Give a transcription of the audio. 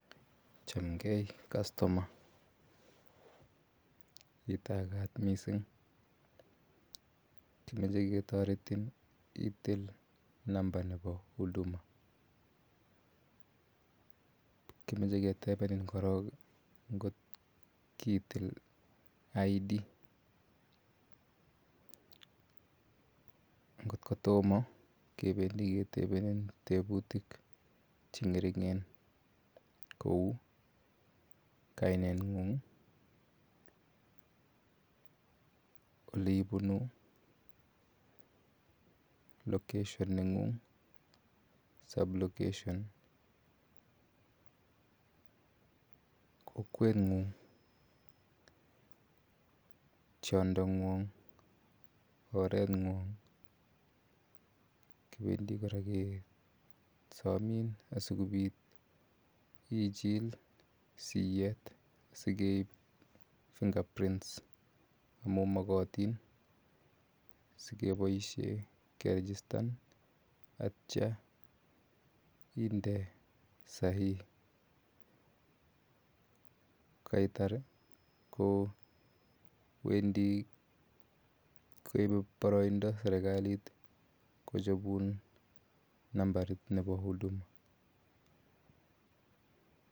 Chamgei customer, itakaat missing', kimache ketaretin itil namba nepo huduma. Kimache ketepenin korok ngot kiitil ID. Ngot ko toma kependi ketepenin teputiik che ng'ering'en kou kainet ng'ung', ole ipunu, location ne ng'ung' i, sub location, kokweng'ung', tiondo ng'wang', oreng'wang'. Kependi kora kesamin asikopit ichil siyeet asikeip fingerprits amu makatin asikepaishe kerejistan atia inde sahihi. Ko kaitar kowendi koie paraindo serkalit kohopun namba nepo huduma.